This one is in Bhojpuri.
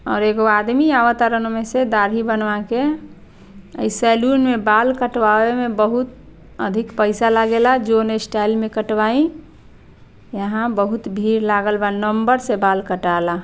और एगो आदमी आवतारन ओने से दाढ़ी बनवाके अ ई सैलून में बाल कटवावे में बहुत अधिक पैसा लागेला जौन स्टाइल में कटवाई यहाँ बहुत भीड़ लागल बा नंबर से बाल कटाला।